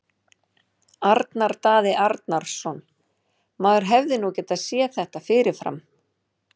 Arnar Daði Arnarsson Maður hefði nú getað séð þetta fyrir fram.